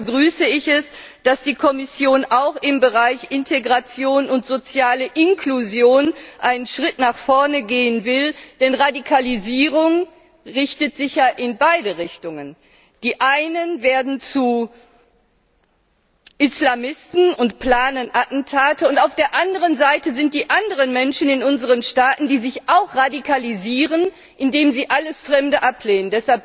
Deshalb begrüße ich es, dass die Kommission auch im Bereich Integration und soziale Inklusion einen Schritt nach vorne gehen will, denn Radikalisierung richtet sich ja in beide Richtungen Die einen werden zu Islamisten und planen Attentate, und auf der anderen Seite sind die anderen Menschen in unseren Staaten, die sich auch radikalisieren, indem sie alles Fremde ablehnen.